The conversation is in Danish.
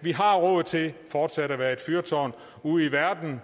vi har råd til fortsat at være et fyrtårn ude i verden